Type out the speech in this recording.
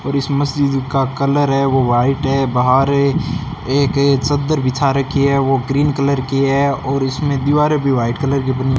और इस मस्जिद का कलर है वो व्हाइट है बाहर एक चद्दर बिछा रखी है वो ग्रीन कलर की है और इसमें दीवारें भी व्हाइट कलर की बनी --